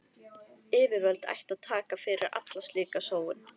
Yfirvöld ættu að taka fyrir alla slíka sóun.